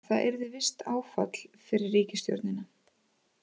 Það yrði visst áfall fyrir ríkisstjórnina